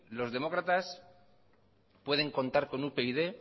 los demócratas pueden contar con upyd